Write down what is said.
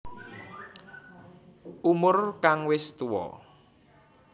Umur kang wis tuwa